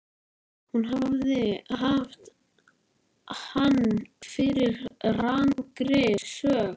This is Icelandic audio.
Hún hafði haft hann fyrir rangri sök.